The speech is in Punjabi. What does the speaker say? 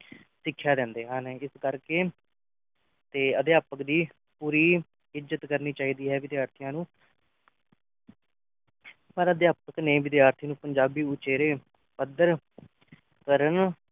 ਸਿੱਖਿਆ ਦਿੰਦੇ ਹਨ ਇਸ ਕਰਕੇ ਤੇ ਅਧਿਆਪਕ ਦੀ ਪੂਰੀ ਇੱਜ਼ਤ ਕਰਨੀ ਚਾਹੀਦੀ ਹੈ ਵਿਦਿਆਰਥੀਆਂ ਨੂੰ ਪਰ ਅਧਿਆਪਕ ਨੇ ਵਿਦਿਆਰਥੀ ਨੂੰ ਪੰਜਾਬੀ ਉਚੇਰੇ ਪੱਧਰ ਕਰਨ